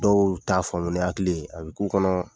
Dɔw t'a faamu ni hakili ye a bɛ k'u kɔnɔ